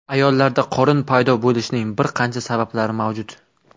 Ayollarda qorin paydo bo‘lishining bir qancha sabablari mavjud.